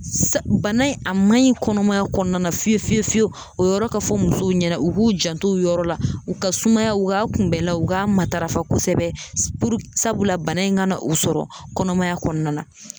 Sa bana in a man ɲi kɔnɔmaya kɔnɔna na fiye fiye fiyewu o yɔrɔ ka fɔ musow ɲɛnɛ u k'u janto o yɔrɔ la u ka sumaya u ka kunbɛlaw k'a matarafa kosɛbɛ s puru sabula bana in ka na u sɔrɔ kɔnɔmaya kɔnɔna na